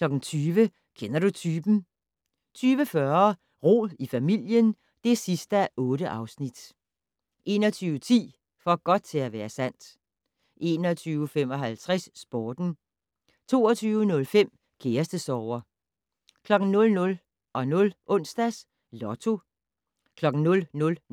20:00: Kender du typen? 20:40: Rod i familien (8:8) 21:10: For godt til at være sandt 21:55: Sporten 22:05: Kærestesorger 00:00: Onsdags Lotto